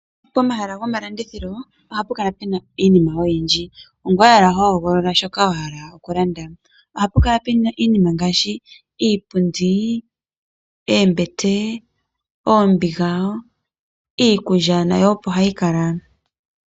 Pomahala gomalandithilo ohapu kala puna iinima oyindji . Ongoye owala hohogolola shoka wahala okulanda. Ohapu kala puna iinima ngaashi Iipundi, oombete, oombiga , iikulya nayo opo hayi kala.